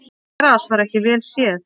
Gras var ekki vel séð.